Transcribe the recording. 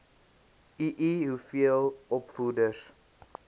ii hoeveel opvoeders